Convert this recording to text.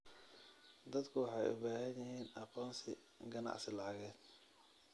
Dadku waxay u baahan yihiin aqoonsi ganacsi lacageed.